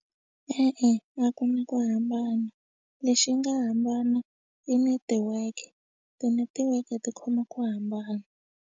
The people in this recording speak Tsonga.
E-e a ku na ku hambana lexi nga hambana i netiweke tinetiweke ti khoma ku hambana.